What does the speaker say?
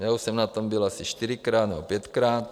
Já už jsem na tom byl asi čtyřikrát nebo pětkrát.